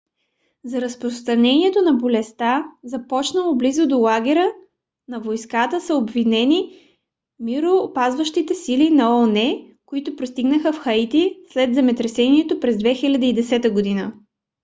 за разпространението на болестта започнало близо до лагера на войската са обвинени мироопазващите сили на оон които пристигнаха в хаити след земетресението през 2010 г